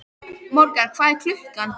Morgan, hvað er klukkan?